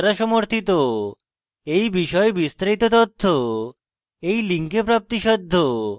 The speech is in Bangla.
এই বিষয়ে বিস্তারিত তথ্য এই link প্রাপ্তিসাধ্য